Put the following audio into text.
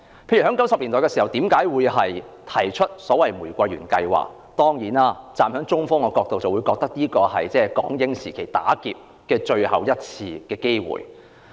香港曾在1990年代提出玫瑰園計劃，站在中方的角度，這是港英時期最後一次"打劫"的機會。